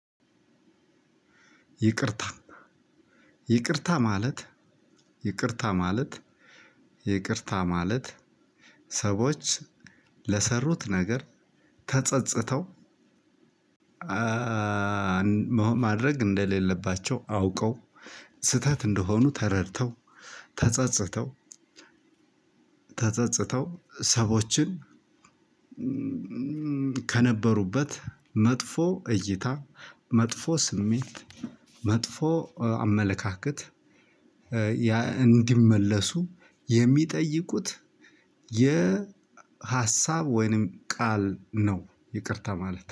ይቅርታ ይቅርታ ማለት ይቅርታ ማለት ይቅርታ ማለት ሰዎች ለሰሩት ነገር ተጸጽተው። ማድረግ እንደሌለባቸው አውቀው ስህተት እንደሆኑ ተረድተው ተጸጽተው ተጸጽተው ሰዎችን። ከነበሩበት መጥፎ እይታ መጥፎ ስሜት መጥፎ አመለካከት። እንዲመለሱ የሚጠይቁት የሀሳብ ወይንም ቃል ነው። ይቅርታ ማለት